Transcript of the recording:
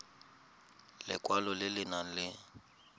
lekwalo le le nang le